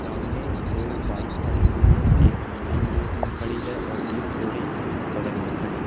सामने दो बाइक खड़ी हुई है एक मेन गेट में खड़ी है और एक थोड़ी बगल में खड़ी--